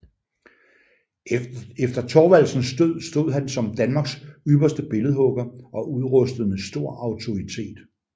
Efter Thorvaldsens død stod han som Danmarks ypperste billedhugger og udrustet med stor autoritet